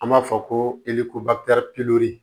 An b'a fɔ ko